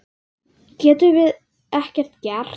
Getum við ekkert gert?